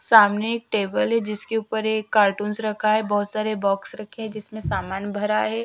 सामने एक टेबल है जिसके ऊपर एक कार्टून्स रखे हैं बहुत सारे बॉक्स रखे हैं जिसमे सामान भरा हुआ है --